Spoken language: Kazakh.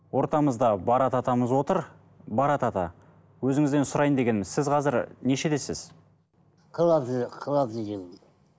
ортамызда барат атамыз отыр барат ата өзіңізден сұрайын дегенім сіз қазір нешедесіз қырық алты қырық алтыншы жылғымын